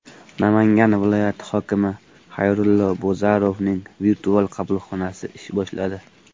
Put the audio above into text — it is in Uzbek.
Namangan viloyati hokimi Xayrullo Bozarovning virtual qabulxonasi ish boshladi .